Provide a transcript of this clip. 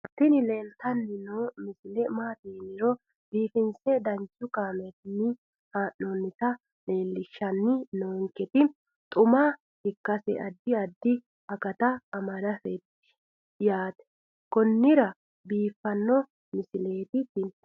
tini leeltanni noo misile maaati yiniro biifinse danchu kaamerinni haa'noonnita leellishshanni nonketi xuma ikkase addi addi akata amadaseeti yaate konnira biiffanno misileeti tini